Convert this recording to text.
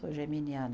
Sou geminiana.